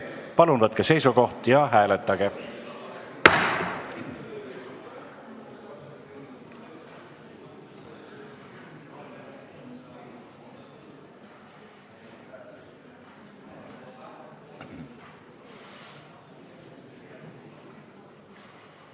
Palun võtke seisukoht ja hääletage!